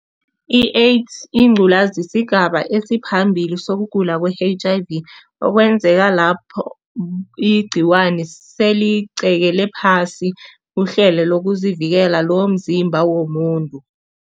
I-AIDS yingculazi, sigaba esiphambili sokugula kwe-H_I_V okwenzeka lapho igcikwani seligqekele phasi uhlelo lokuzivikela lomzimba womuntu.